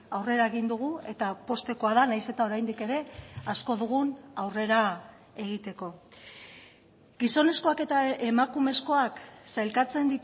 aurrera egin dugu eta poztekoa da nahiz eta oraindik ere asko dugun aurrera egiteko gizonezkoak eta emakumezkoak sailkatzen